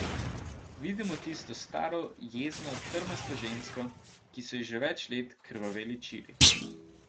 Vidim tisto staro jezno, trmasto žensko, ki so ji že več let krvaveli čiri.